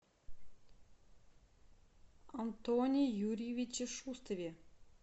антоне юрьевиче шустове